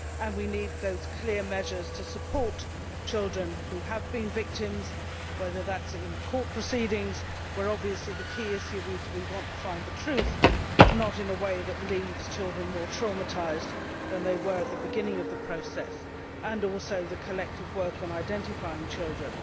We need those clear measures to support children who have been victims whether through court proceedings, where obviously the key issue is to find the truth but not in a way that leaves children more traumatised than they were at the beginning of the process, or through the collective work on identifying children.